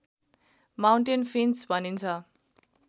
mountain finch भनिन्छ